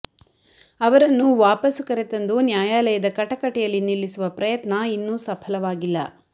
ಅವರನ್ನು ವಾಪಸು ಕರೆತಂದು ನ್ಯಾಯಾಲಯದ ಕಟಕಟೆಯಲ್ಲಿ ನಿಲ್ಲಿಸುವ ಪ್ರಯತ್ನ ಇನ್ನೂ ಸಫಲವಾಗಿಲ್ಲ